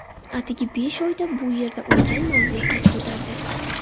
Atigi besh oyda bu yerda ulkan mavze qad ko‘tardi.